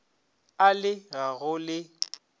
a le ga go le